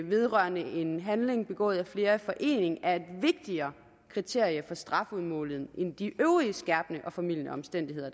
vedrørende en handling begået af flere i forening er et vigtigere kriterium for strafudmåling end de øvrige skærpende og formildende omstændigheder